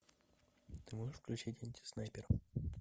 ты можешь включить антиснайпер